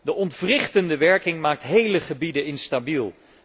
De ontwrichtende werking maakt hele gebieden instabiel.